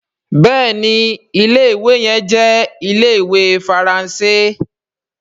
béèni Ilé-ìwé yẹn jẹ Ile-iwe Faranse.